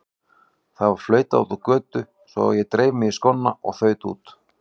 Það var flautað úti á götu svo ég dreif mig í skóna og þaut út.